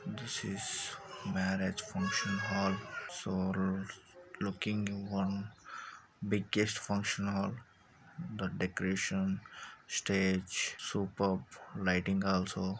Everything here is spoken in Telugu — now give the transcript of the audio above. this is marriage function hall so looking one biggest function hall that decoration stage superb lighting also {this is marrige function hall so looking one biggest function hall that decoration stage superb lighting also}